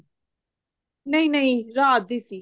ਨਹੀਂ ਨਹੀਂ ਰਾਤ ਦੀ ਸੀ